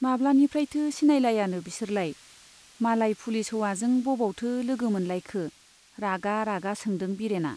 माब्लानिफ्रायथो सिनायलायानो बिसोरलाय ? मालाय पुलिस हौवाजों बबावथो लोगो मोनलायखो ? रागा रागा सोंदों बिरेना